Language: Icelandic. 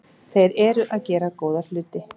Þeir eru að gera góða hluti.